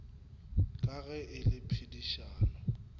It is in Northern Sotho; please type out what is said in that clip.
ka ge e le pedifatšo